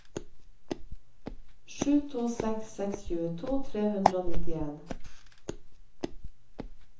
sju to seks seks tjueto tre hundre og nittien